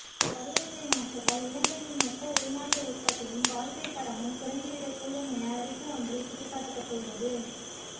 பருவநிலை மாற்றத்தால் இலங்கையின் மொத்த உள்நாட்டு உற்பத்தியும் வாழ்க்கைத் தரமும் குறைந்துவிடக்கூடும் என அறிக்கையொன்றில் சுட்டிக்காட்டப்பட்டுள்ளது